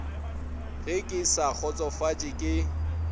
ge ke sa kgotsofatše ke